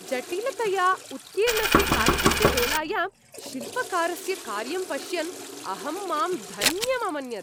जटिलतया उत्कीर्णस्य काष्ठस्य दोलायां शिल्पकारस्य कार्यं पश्यन् अहं मां धन्यम् अमन्यत।